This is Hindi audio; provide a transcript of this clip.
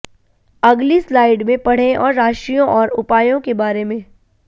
अगली स्लाइड में पढ़ें और राशियों और उपायों के बारें में